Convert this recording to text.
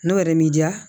N'o yɛrɛ m'i diya